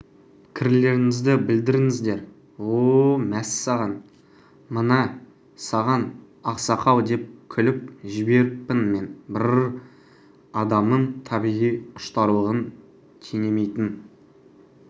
пікірлеріңізді білдіріңіздер о-о мәссаған міне саған ақсақал деп күліп жіберіппін мен бр-р-р адамның табиғи құштарлығын теңемейтін